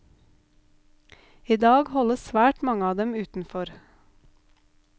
I dag holdes svært mange av dem utenfor.